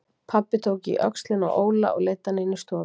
Pabbi tók í öxlina á Óla og leiddi hann inn í stofu.